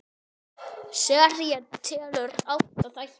Serían telur átta þætti.